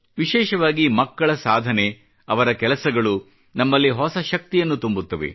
ವಿಶೇಷವಾಗಿ ಮಕ್ಕಳ ಸಾಧನೆ ಅವರ ಕೆಲಸಗಳು ನಮ್ಮಲ್ಲಿ ಹೊಸ ಶಕ್ತಿಯನ್ನು ತುಂಬುತ್ತವೆ